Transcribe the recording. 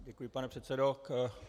Děkuji, pane předsedo.